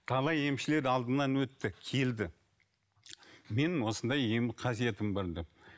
талай емшілер алдымнан өтті келді менің осындай ем қасиетім бар деп